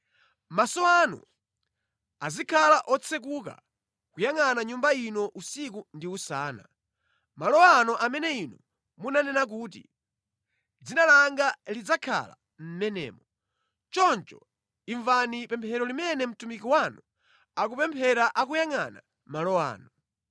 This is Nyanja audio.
Maso anu azikhala otsekuka kuyangʼana Nyumba ino usiku ndi usana, malo ano amene Inu munanena kuti, ‘Dzina langa lidzakhala mʼmenemo,’ choncho imvani pemphero limene mtumiki wanu akupemphera akuyangʼana malo ano.